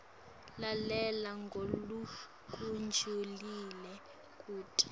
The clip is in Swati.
lalela ngalokujulile kute